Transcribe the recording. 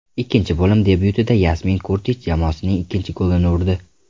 Ikkinchi bo‘lim debyutida Yasmin Kurtich jamoasining ikkinchi golini urdi.